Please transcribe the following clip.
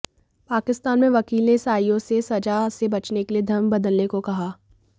पाकिस्तान में वकील ने ईसाइयों से सजा से बचने के लिए धर्म बदलने को कहा